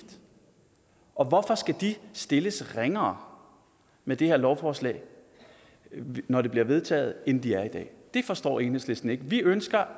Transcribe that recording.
og hvorfor skal de stilles ringere med det her lovforslag når det bliver vedtaget end de er i dag det forstår enhedslisten ikke vi ønsker